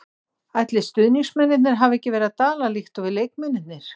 Ætlið stuðningsmennirnir hafi ekki verið að dala líkt og við leikmennirnir.